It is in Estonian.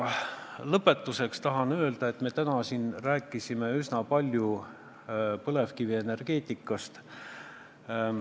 Lõpetuseks tahan öelda, et me rääkisime täna üsna palju põlevkivienergeetikast.